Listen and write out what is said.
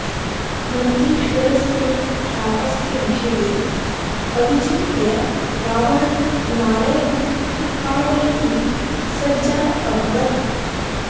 नन्दीश्वरस्य शापस्य विषये अविचिन्त्य रावणः हिमालयम् उत्पाटयितुं सज्जः अभवत्